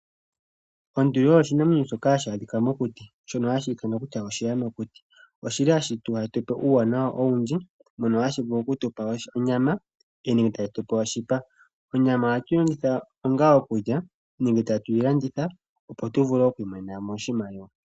Onduli osho oshinamwenyo shoka hashi adhika mokuti shono hashi ithanwa kutya oshiyamakuti oshili hashitupe uuwanawa owundji mono hashi vulu okutupa onyama nenge oshipa, onyama oha twilongitha onga okulya nenge tatwilanditha opo tuvule okwi monena oshimaliwa.